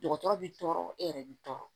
Dɔgɔtɔrɔ bi tɔɔrɔ e yɛrɛ bi tɔɔrɔ